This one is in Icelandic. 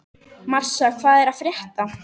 Marsa, hvað er að frétta?